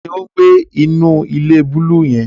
Tani o ngbe inu ile buluu yẹn?